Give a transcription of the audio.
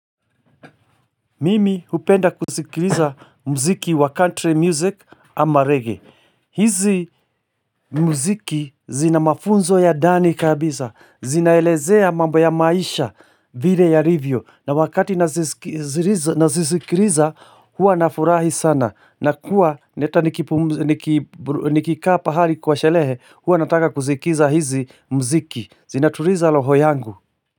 Mimi hupenda kuzikiliza mziki wa ''country music'' ama ''reggae''. Hizi muziki zina mafunzo ya ndani kabisa. Zinaelezea mambo ya maisha, vile yalivyo. Na wakati nazisikiliza hua nafurahi sana. Nakuwa nikikaa pahali kwa sherehe hua nataka kusikiza hizi muziki. Zinatuliza roho yangu.